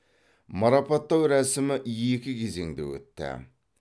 марапаттау рәсімі екі кезеңде өтті